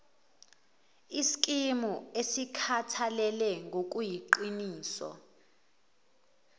iskimu esikhathalele ngokuyiqiniso